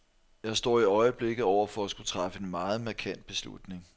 Jeg står i øjeblikket over for at skulle træffe en meget markant beslutning.